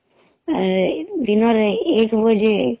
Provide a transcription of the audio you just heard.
ଏଦିନରେ ଏକ ବଜେ